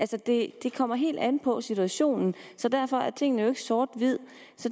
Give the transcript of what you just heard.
det kommer helt an på situationen så derfor er tingene jo ikke sort hvide